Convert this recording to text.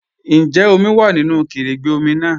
Ǹjẹ́ omi wá nínu kẹrẹ̀gbẹ̀ omi náà?